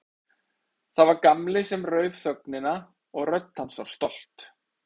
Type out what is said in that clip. Það var Gamli sem rauf þögnina og rödd hans var stolt.